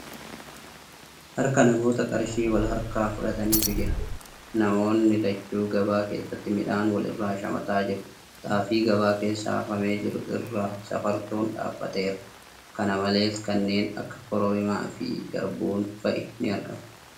Harka namoota qarshii wal harkaa fuudhaniitu jira. Namoonni lachuu gabaa keessatti midhaan wal irraa shamataa jiru . Xaafii gabaa keessa hafamee jiru irra safartuun dhaabbateera. Kana malees, kanneen akka kororimaa fi garbuun fa'i ni argamu.